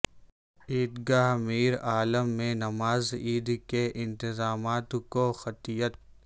عیدگاہ میرعالم میں نماز عید کے انتظامات کو قطعیت